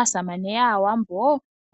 Aasamane yAawambo